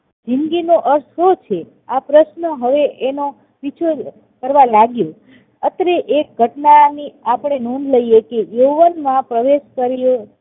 જિંદગીનો અર્થ શું છે? આ પ્રશ્ન હવે તેનો પીછો કરવા લાગ્યો અત્રે એ ઘટના ની આપણે નોંધ લઈએ કે યૌવનમાં પ્રવેશ કર્યો